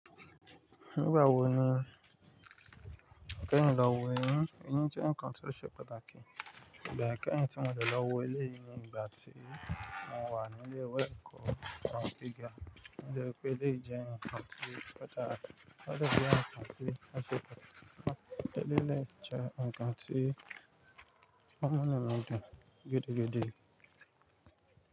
Nígbà wo ni o kẹ́yìn lọ wo ẹyin? Ẹyin jẹ́ nǹkan tí ó ṣe pàtàkì, ìgbà ẹ kẹ́yìn tí mo dẹ̀ lọ wo èléyìí ní ìgbà tí mo wà ní ilé ìwé ẹ̀kọ́ gíga. Mo rí i pé ilé yín jẹ́ nǹkan tí ó ṣe pàtàkì. Mo rí i pé ilé yín jẹ́ nǹkan tí ọmọ náà lọ́dọ̀ gẹdẹgẹdẹ.